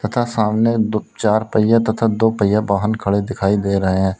तथा सामने दो चार पहिया तथा दो पहिया वाहन खड़े दिखाई दे रहे हैं।